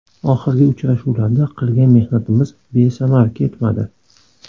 Oxirgi uchrashuvlarda qilgan mehnatimiz besamar ketmadi.